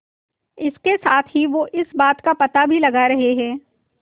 इसके साथ ही वो इस बात का पता भी लगा रहे हैं